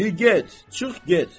Di get, çıx get.